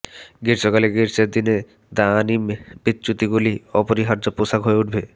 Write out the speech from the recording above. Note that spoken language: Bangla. গ্রীষ্মকালে গ্রীষ্মের দিনে দানিম বিচ্যুতিগুলি অপরিহার্য পোশাক হয়ে উঠবে